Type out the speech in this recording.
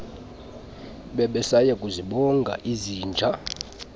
bebesaya kuzibonga izinja